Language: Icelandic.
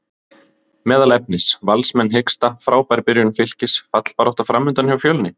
Meðal efnis: Valsmenn hiksta, Frábær byrjun Fylkis, fallbarátta framundan hjá Fjölni?